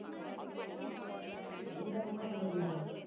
பயங்கரமான ஆளுங்கதான்